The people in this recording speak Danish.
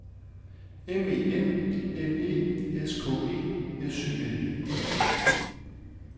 M E N N E S K E S Y N